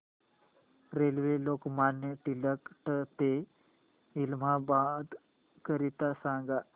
railway Lokmanya Tilak ट ते इलाहाबाद करीता सांगा